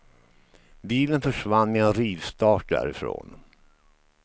Bilen försvann med en rivstart därifrån.